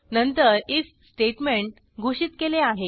नंतर IF statement घोषित केले आहे